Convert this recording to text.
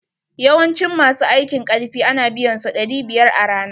Yawancin ma su aiki karfi a na biyan su ɗari biyar a rana.